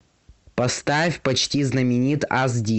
поставь почти знаменит аш ди